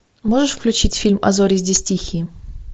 можешь включить фильм а зори здесь тихие